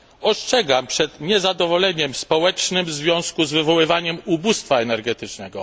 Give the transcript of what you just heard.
Ostrzegam przed niezadowoleniem społecznym w związku w wywoływaniem ubóstwa energetycznego.